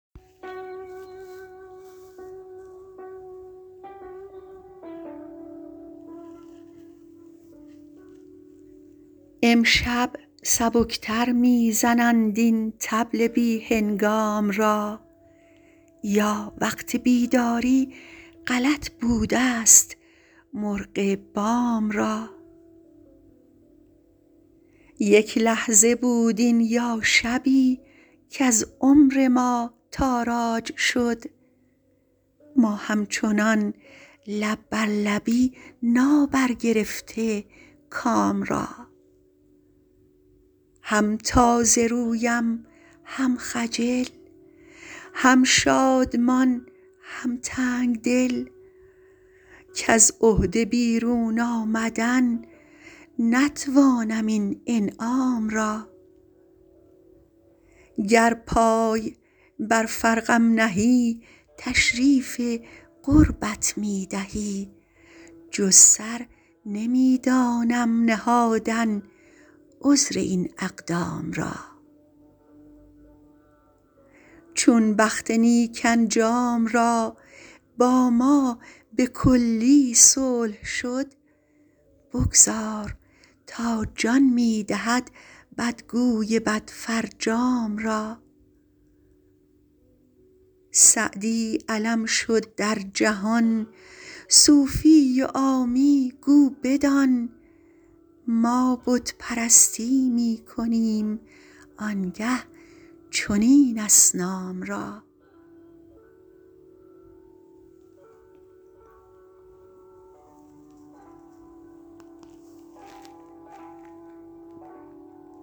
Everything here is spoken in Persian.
امشب سبک تر می زنند این طبل بی هنگام را یا وقت بیداری غلط بودست مرغ بام را یک لحظه بود این یا شبی کز عمر ما تاراج شد ما همچنان لب بر لبی نابرگرفته کام را هم تازه رویم هم خجل هم شادمان هم تنگ دل کز عهده بیرون آمدن نتوانم این انعام را گر پای بر فرقم نهی تشریف قربت می دهی جز سر نمی دانم نهادن عذر این اقدام را چون بخت نیک انجام را با ما به کلی صلح شد بگذار تا جان می دهد بدگوی بدفرجام را سعدی علم شد در جهان صوفی و عامی گو بدان ما بت پرستی می کنیم آن گه چنین اصنام را